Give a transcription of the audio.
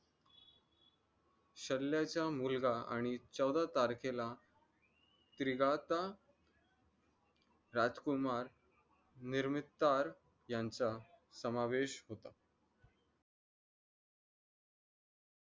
शल्याचा मुलगा आणि चौदाह तारखेला क्रीगाता राजकुमार निर्मितार यांचा समावेश होता.